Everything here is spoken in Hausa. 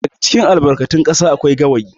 daga cikin albarkatin kasa akwai gawayi